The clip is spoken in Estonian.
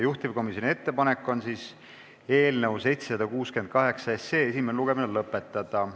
Juhtivkomisjoni ettepanek on eelnõu 768 esimene lugemine lõpetada.